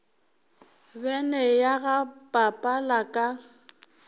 bene ya ga papala ka